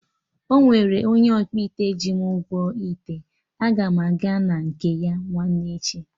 Ọnwere onye ọkpụite ji m ụgwọ ite, aga m aga na nke ya nwanne echi